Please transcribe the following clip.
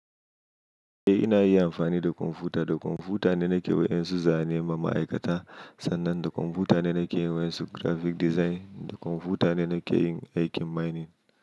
Eh ina yi amfani da kwamfuta, da kwamfuta ne nake waƴansu za ne ma ma'aikata, sannan da kwamfuta ne nake yin wasu graphic design, da kwamfuta ne nake yin aikin mining.